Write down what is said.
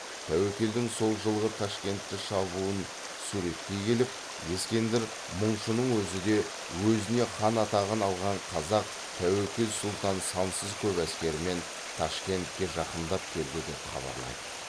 тәуекелдің сол жылғы ташкентті шабуын суреттей келіп ескендір мұңшының өзі де өзіне хан атағын алған қазақ тәуекел сұлтан сансыз көп әскермен ташкентке жақындап келді деп хабарлайды